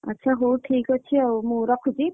ଆଚ୍ଛା ହଉ ଠିକ୍ ଅଛି ଆଉ ମୁଁ ରଖୁଛି।